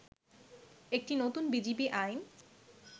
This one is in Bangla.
একটি নতুন বিজিবি আইন